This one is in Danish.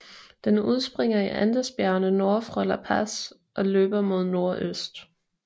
Den udspringer i Andesbjergene nord for La Paz og løber mod nordøst